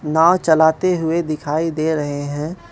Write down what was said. नाव चलाते हुए दिखाई दे रहे हैं।